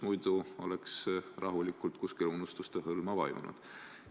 Muidu oleks see teema rahulikult kuskile unustuste hõlma vajunud.